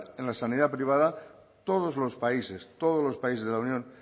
en la sanidad privada todos los países todos los países de la unión